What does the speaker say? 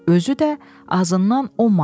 Özü də azından 10 manat.